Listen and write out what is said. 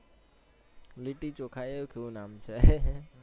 લિટ્ટી ચોખા એ કેવું નામ છે